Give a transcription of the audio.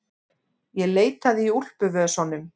Ég leitaði í úlpuvösunum.